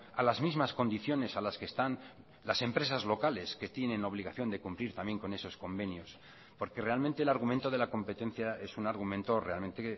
a las mismas condiciones a las que están las empresas locales que tienen obligación de cumplir también con esos convenios porque realmente el argumento de la competencia es un argumento realmente